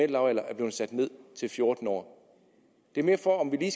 lavalder er blevet sat ned til fjorten år det er mere for at vi